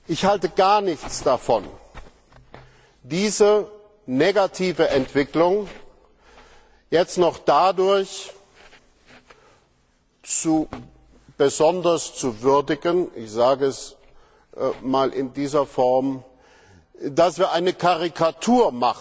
Ich halte gar nichts davon, diese negative Entwicklung jetzt dadurch noch besonders zu würdigen ich sage es einmal in dieser Form dass wir eine Karikatur